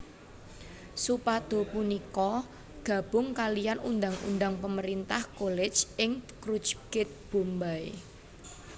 Supado punika gabung kalian Undang Undang Pemerintah College ing Churchgate Bombay